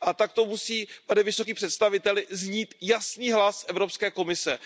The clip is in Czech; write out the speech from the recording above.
Takto musí, pane vysoký představiteli, znít jasný hlas Evropské komise.